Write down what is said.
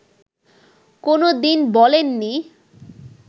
কোনো দিন বলেননি